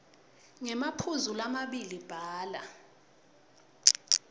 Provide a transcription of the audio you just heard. ngemaphuzu lamabili bhala